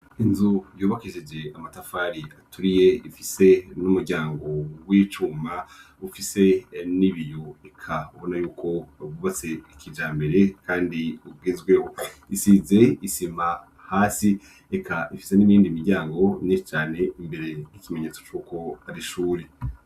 Inzu yubakije amatafari aturiye ifise n'umuryango w'icuma ufise n'biyo, eka ubona yuko yubatse kijambere kandi ugezweho, isize isima hasi eka ifise n'iyindi miryango myinshi cane imbere, nk'ikimenyetso c'uko ari ishure.